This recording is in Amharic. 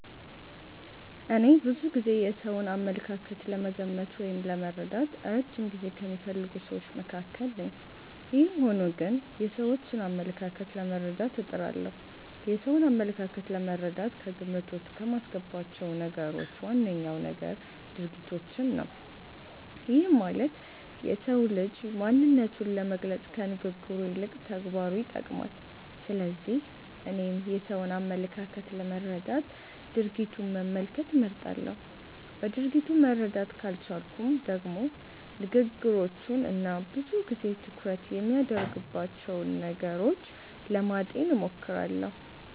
እኔ ብዙ ጊዜ የሰውን አመለካከት ለመገመት ወይም ለመረዳት እረጅም ጊዜ ከሚፈልጉ ስዎች መካከል ነኝ። ይህም ሆኖ ግን የሰዎችን አመለካከት ለመረዳት እጥራለሁ። የሰውን አመለካከት ለመረዳት ከግምት ዉስጥ ከማስገባቸው ነገሮች ዋነኛው ነገር ድርጊቶችን ነው። ይህም ማለት የሰው ልጅ ማንነቱን ለመግለፅ ከንግግሩ ይልቅ ተግባሩን ይጠቀማል። ስለዚህ እኔም የሰውን አመለካከት ለመረዳት ድርጊቱን መመልከት እመርጣለሁ። በድርጊቱ መረዳት ካልቻልኩም ደግሞ ንግግሮቹን እና ብዙ ጊዜ ትኩረት የሚያደርግባቸውን ነገሮች ለማጤን እሞክራለሁ።